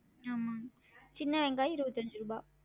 ஆமாங்க சின்ன வெங்காயம் இருவத்தஞ்சு ருபா